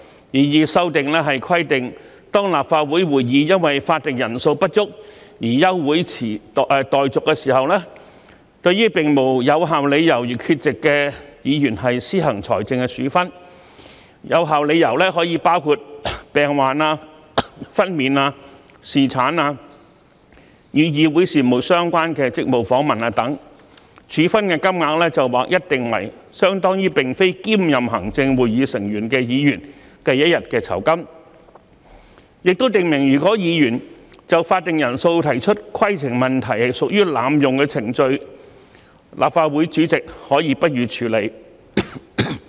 擬議修訂規定，當立法會會議因法定人數不足而休會待續時，對並無有效理由而缺席的議員施行財政處分，有效理由可包括病患、分娩、侍產、與議會事務相關的職務訪問等，處分金額則劃一定為相當於並非兼任行政會議成員的議員一天的酬金；亦訂明如果議員就法定人數提出規程問題屬濫用程序，立法會主席可不予處理。